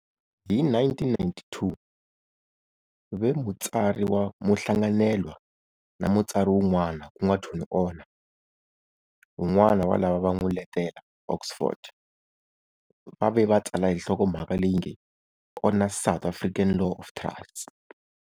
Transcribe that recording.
Hi 1992 ve mutsari wa muhlanganelwa na mutsari wun'wana ku nga Tony Honoré, wun'wana wa lava va n'wi letela Oxford, va ve va tsala hi nhlokomhaka leyi nge-Honoré's South African Law of Trusts.